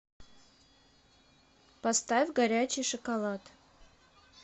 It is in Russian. поставь горячий шоколад